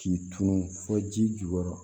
K'i tunun fo ji jukɔrɔ